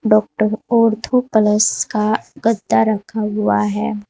Doctor ortho plus का गद्दा रखा हुआ है।